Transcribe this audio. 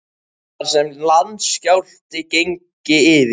Það var sem landskjálfti gengi yfir.